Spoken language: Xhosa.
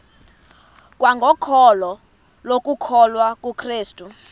kwangokholo lokukholwa kukrestu